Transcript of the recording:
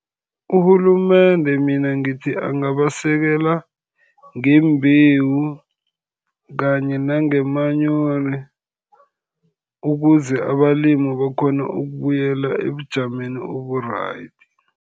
Urhulumende mina ngithi angabasekela ngembewu, kanye nangomanyoro, ukuze abalimi bakghone ukubuyela ebujameni obu-right.